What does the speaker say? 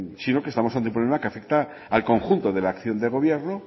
sino que estamos ante un problema que afecta al conjunto de la acción de gobierno